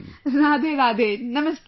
Radhe Radhe, Namaste